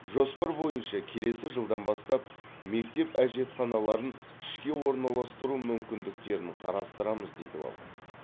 жоспар бойынша келесі жылдан бастап мектеп әжетханаларын ішке ораналастыру мүмкіндіктерін қарастырамыз дейді ол